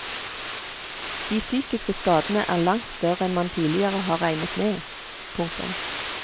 De psykiske skadene er langt større enn man tidligere har regnet med. punktum